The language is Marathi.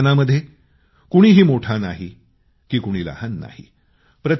या अभियानामध्ये कोणीही मोठा नाही की कोणी लहान नाही